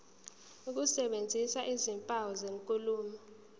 ukusebenzisa izimpawu zenkulumo